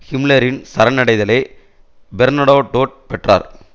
ஹிம்லரின் சரணடைதலை பெர்னடோடோட் பெற்றார்